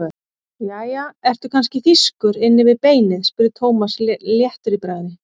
Jæja, ertu kannski þýskur inni við beinið? spurði Thomas léttur í bragði.